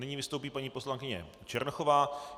Nyní vystoupí paní poslankyně Černochová.